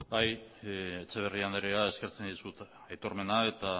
etxeberria andrea eskertzen dizut etormena